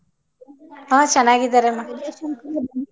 ಹ ಚೆನ್ನಾಗಿದರಮ್ಮ .